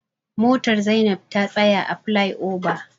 Motar Zainab ta tsaya a flai oba.